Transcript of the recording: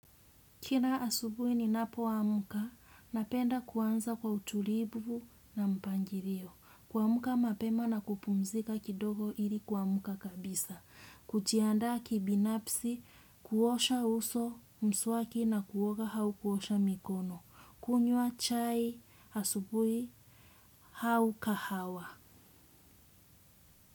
Kila asubuhi ninapo amka, napenda kuanza kwa utulivu na mpangilio. Kuamka mapema na kupumzika kidogo ili kuamka kabisa. Kujianda kibinafsi, kuosha uso mswaki na kuoga au kuosha mikono. Kunyua chai asubuhi au kahawa.